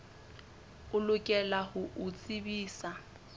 o lokela ho o tsebisa